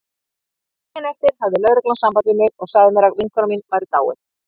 Daginn eftir hafði lögreglan samband við mig og sagði mér að vinkona mín væri dáin.